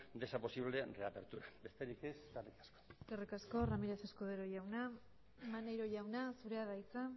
de esa posible reapertura besterik ez eskerrik asko eskerrik asko ramírez escudero jauna maneiro jauna zurea da hitza